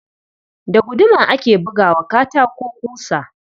Da guduma ake buga wa katako ƙusa.